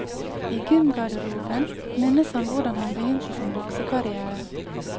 I gymgarderoben minnes han hvordan han begynte sin boksekarriere.